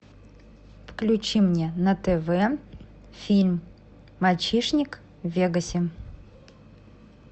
включи мне на тв фильм мальчишник в вегасе